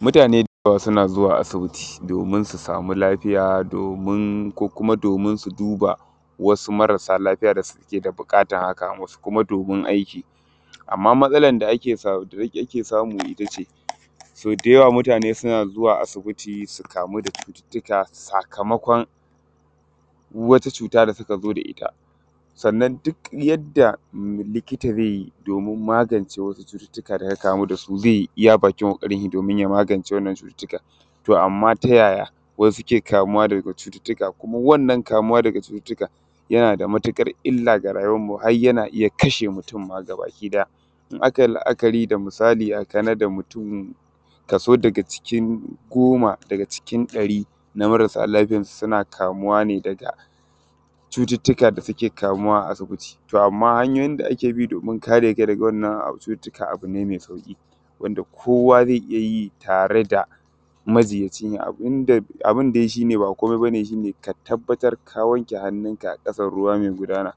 mutane ba suna zuwa asibiti domin su sami lafiya ko kuma domin su duba wasu marasa lafiya da suke da buƙatan haka wasu kuma domin aiki amma matasala da ake samu ita ce so da yawa mutane suna zuwa asibiti su kamu da cututtuka sakamakon wata cuta da suka zo da ita, sannan duk da likitoci ze yi domin magance wata cututtuka da ya kamu da su ze yi a bakin ƙokarin shi domin ya magance wannan cututtukan. To amma ta yaya wasu suke kamuwa da cututtuka ko muna wannan kamuwa da cututtukan yana da matuƙar illa da rayuwan mu har yana iya kashe mutane ma gabakiɗaya in akai la’akari da misali a kana:da mutum kaso da ga cikin goma da cikin ɗari na marasa lafiyansu suna kamuwa da cututtuka da suke kamuwa a asibiti to amma hanyoyi da ake bi domin kare kamuwa: da wannan cututtuka abu ne me sau:ƙi wanda kowa ze iya yi tare da majinyaci da abun da shi ne ba komai nashi ne shi ne ka tabattar ka wanke hannunka a ƙasar ruwa me gudana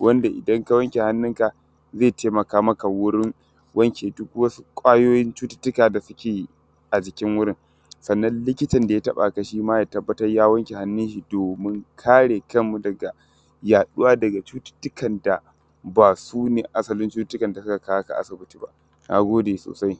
wanda idan ka wanke hannunka ze taimaka maka wajen wanke duk ƙwayoyin cututtuka da suke a jikin wurin sannan likitin da ya taɓaka shi ma ya tabattar ya wanke hannun shi domin kariya da kanmu da yaɗuwa da cututtuka da ba su ne asalin cututtuka da suka kawo ka asibiti. Na gode sosai.